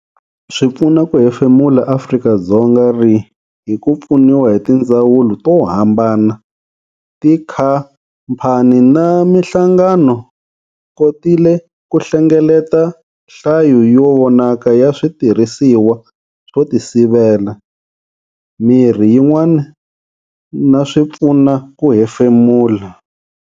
Swipfuna ku hefemula Afrika-Dzonga ri, hi ku pfuniwa hi tindzawulo to hambana, tikhamphani na mihlangano, kotile ku hlengeleta hlayo yo vonaka ya switirhisiwa swo tisivela, mirhi yin'wana na swipfuna ku hemfemula.